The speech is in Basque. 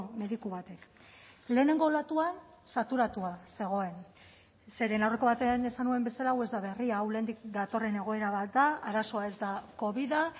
mediku batek lehenengo olatuan saturatua zegoen zeren aurreko batean esan nuen bezala hau ez da berria hau lehendik datorren egoera bat da arazoa ez da covida